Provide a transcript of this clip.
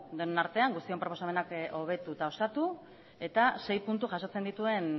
denon artean guztion proposamenak hobetu eta osatu eta sei puntu jasotzen dituen